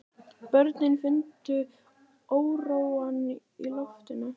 Börnin fundu óróann í loftinu.